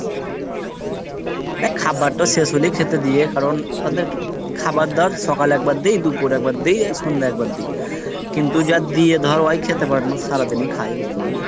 দেখ খাবারতো শেষ হলেই খেতে দিয়ে, কারণ ওদের একটু খাবার দেওয়ার সকালে একবার দিই, দুপুরে একবার দিই, এই সন্ধ্যায় একবার দিই, কিন্তু যার দিয়ে ধর ওই খেতে পারে নাই সারাদিনই খাই বুঝতেপারলি।